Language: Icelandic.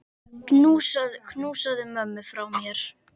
Knúsaðu ömmu frá mér.